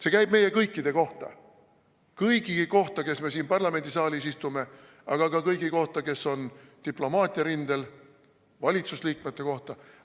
See käib meie kõikide kohta, kõigi kohta, kes me siin parlamendisaalis istume, aga ka kõigi kohta, kes on diplomaatiarindel, ka valitsusliikmete kohta.